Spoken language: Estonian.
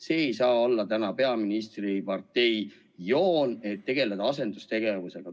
See ei saa olla peaministri partei joon, tegeleda asendustegevusega.